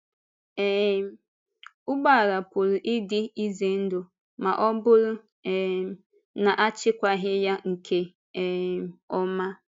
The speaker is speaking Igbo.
um Ụgbọala pụrụ ịdị ize ndụ ma ọ̀ bụrụ um na a chịkwaghị ya nke um ọma.